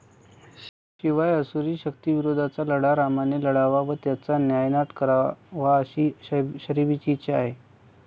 शिवाय असुरी शक्तींविरुद्धचा लढा रामाने लढावा व त्याचा नायनाट करावा अशी शबरीची इच्छा आहे.